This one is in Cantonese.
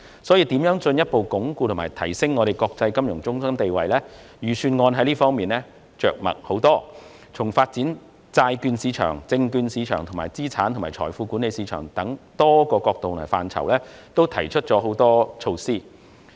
所以，關於如何進一步鞏固及提升香港作為國際金融中心的地位，預算案着墨甚多，就發展債券市場和證券市場，以及資產及財富管理等多個範疇均提出不同的措施。